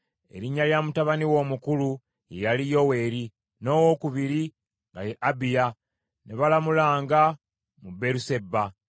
Erinnya lya mutabani we omukulu ye yali Yoweeri, n’owokubiri nga ye Abiya, ne balamulanga mu Beeruseba.